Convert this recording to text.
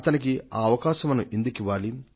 అతనికి ఆ అవకాశం మనం ఎందుకు ఇవ్వాలి